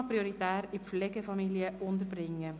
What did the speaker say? «UMA prioritär in Pflegefamilien unterbringen».